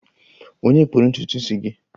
Ònye kpụrụ ntutu isi gị?